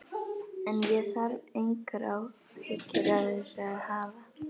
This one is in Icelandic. En ég þarf engar áhyggjur af þessu að hafa.